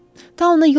Taun ona yoluxmayıb.